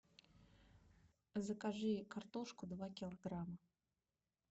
закажи картошку два килограмма